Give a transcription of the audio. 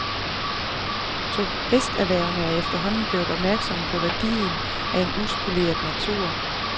Turisterhvervene er efterhånden blevet opmærksomme på værdien af en uspoleret natur.